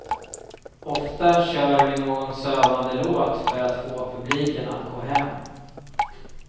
Ofta kör vi någon sövande låt för att få publiken att gå hem.